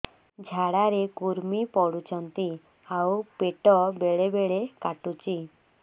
ଝାଡା ରେ କୁର୍ମି ପଡୁଛନ୍ତି ଆଉ ପେଟ ବେଳେ ବେଳେ କାଟୁଛି